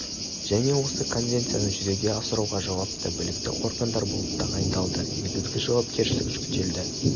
және осы конвенцияны жүзеге асыруға жауапты білікті органдар болып тағайындалды негізгі жауапкершілік жүктелді